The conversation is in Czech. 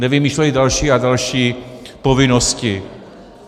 Nevymýšleli další a další povinnosti.